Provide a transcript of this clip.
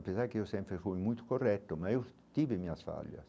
Apesar que eu sempre fui muito correto, mas eu tive minhas falhas.